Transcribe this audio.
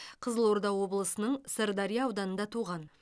қызылорда облысының сырдария ауданында туған